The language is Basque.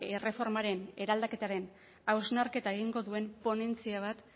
erreformaren eraldaketaren hausnarketa egingo duen ponentzia bat